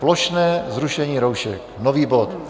Plošné zrušení roušek, nový bod.